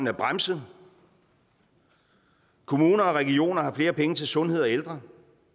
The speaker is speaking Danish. er bremset kommuner og regioner har flere penge til sundhed og ældre